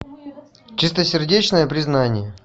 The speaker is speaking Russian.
чистосердечное признание